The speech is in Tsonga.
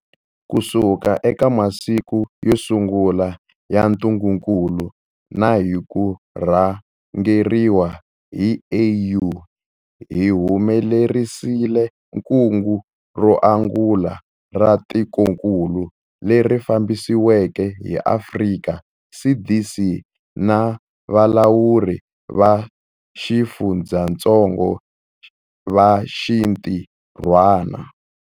Kusuka eka masiku yo sungula ya ntungukulu na hi ku rhangeriwa hi AU, hi humelerisile kungu ro angula ra tikokulu, leri fambisiweke hi Afrika CDC na valawuri va xifundzatsongo va xintirhwana.